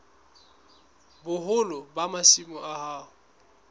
boholo ba masimo a hao